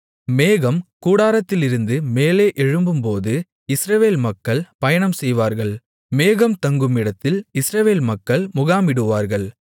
மேகம் கூடாரத்திலிருந்து மேலே எழும்பும்போது இஸ்ரவேல் மக்கள் பயணம்செய்வார்கள் மேகம் தங்குமிடத்தில் இஸ்ரவேல் மக்கள் முகாமிடுவார்கள்